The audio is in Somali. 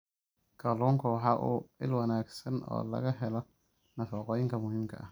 Kalluunku waa il wanaagsan oo laga helo nafaqooyinka muhiimka ah.